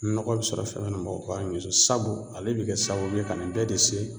Nɔgɔ bɛ sɔrɔ fɛn fɛn na mɔgɔ kan k'i ɲɛs'o sabu ale be kɛ sababu ye ka nin bɛɛ de se